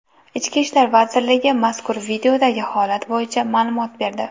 Ichki ishlar vazirligi mazkur videodagi holat bo‘yicha ma’lumot berdi .